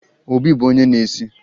Obi bụ onye na-esi